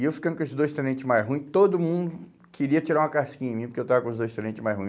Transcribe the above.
E eu ficando com esses dois tenentes mais ruins, todo mundo queria tirar uma casquinha em mim, porque eu estava com os dois tenentes mais ruins.